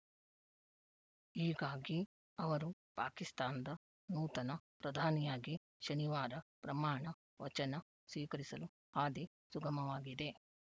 ಹೀಗಾಗಿ ಅವರು ಪಾಕಿಸ್ತಾನದ ನೂತನ ಪ್ರಧಾನಿಯಾಗಿ ಶನಿವಾರ ಪ್ರಮಾಣ ವಚನ ಸ್ವೀಕರಿಸಲು ಹಾದಿ ಸುಗಮವಾಗಿದೆ